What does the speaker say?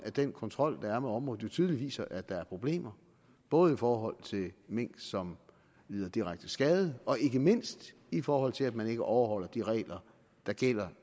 den kontrol der er med området jo tydeligt viser at der er problemer både i forhold til mink som lider direkte skade og ikke mindst i forhold til at man ikke overholder de regler der gælder